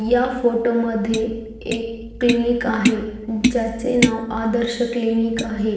या फोटो मध्ये एक क्लिनिक आहे ज्याचे नाव आदर्श क्लिनिक आहे.